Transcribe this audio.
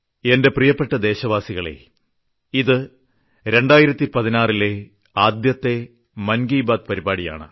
എന്റെ പ്രിയപ്പെട്ട ദേശവാസികളേ ഇത് 2016 ലെ ആദ്യത്തെ മൻ കി ബാത് പരിപാടിയാണ്